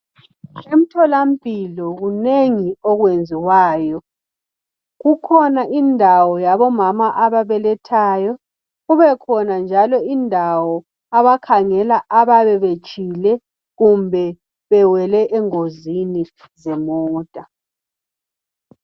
Emtholampilo kunengi okwenziwayo. Kukhona indawo yabomama ababelethayo kubekhona njalo indawo abakhangela abayabe betshile kumbe bewele engozini zemota.